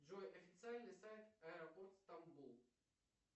джой официальный сайт аэропорт стамбул